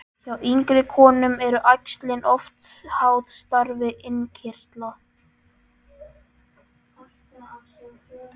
Hjá yngri konum eru æxlin oft háð starfi innkirtla.